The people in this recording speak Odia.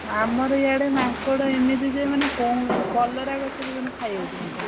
ଆମର ଇଆଡେ ମାଙ୍କଡ ଏମିତି ଯେ ମାନେ କହନି କଲରା ଗଛକୁ ଖାଇ ଯାଉଛି ମାଙ୍କଡ।